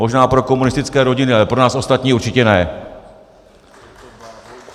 Možná pro komunistické rodiny, ale pro nás ostatní určitě ne!